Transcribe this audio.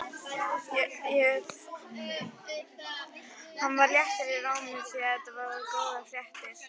Hann var léttur í rómi því þetta voru góðar fréttir.